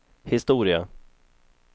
historia